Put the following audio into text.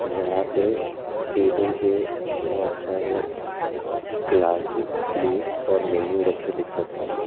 जहां पे टेबल पे बहुत सारे ग्लासेस प्लेट्स और मैनू रखे दिख सकते हैं।